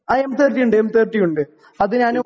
ആ എം 30 ഉണ്ട്. എം 30 ഉണ്ട്. അത് ഞാൻ